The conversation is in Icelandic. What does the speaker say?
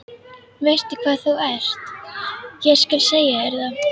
Veistu hvað þú ert, ég skal segja þér það.